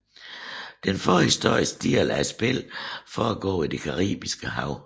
Den forhistoriske del af spillet foregår i det Caribiske Hav